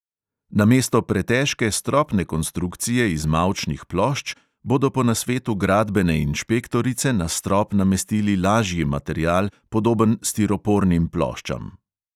Namesto pretežke stropne konstrukcije iz mavčnih plošč bodo po nasvetu gradbene inšpektorice na strop namestili lažji material, podoben stiropornim ploščam.